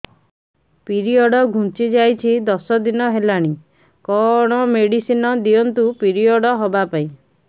period ଘୁଞ୍ଚି ଯାଇଛି ଦଶ ଦିନ ହେଲାଣି କଅଣ ମେଡିସିନ ଦିଅନ୍ତୁ ପିରିଅଡ଼ ହଵା ପାଈଁ